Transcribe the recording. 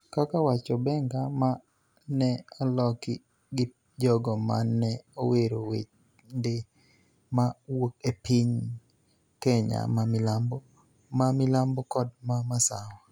kaka wacho benga ma ne oloki gi jogo ma ne owero wende ma wuok e piny Kenya ma milambo, ma milambo kod ma masawa.